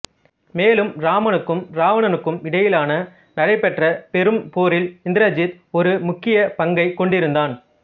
மேலும் இராமனுக்கும் இராவணனுக்கும் இடையிலான நடைப்பெற்ற பெரும் போரில் இந்திரஜித் ஒரு முக்கிய பங்கைக் கொண்டிருந்தான்